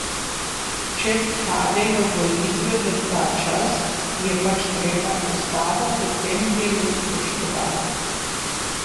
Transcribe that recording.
Če padejo volitve v ta čas, je pač treba ustavo v tem delu spoštovati.